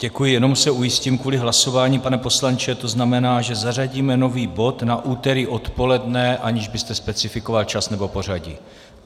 Děkuji, jenom se ujistím kvůli hlasování, pane poslanče, to znamená, že zařadíme nový bod na úterý odpoledne, aniž byste specifikoval čas nebo pořadí.